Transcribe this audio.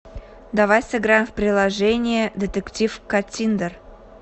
давай сыграем в приложение детектив каттиндер